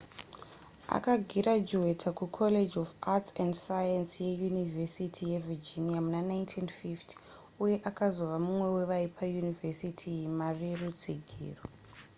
akagirajuweta kucollege of arts & science yeyunivhesiti yevirginia muna 1950 uye akazova mumwe wevaipa yunivesiti iyi mari yerutsigiro